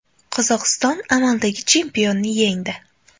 Qozog‘iston amaldagi chempionni yengdi.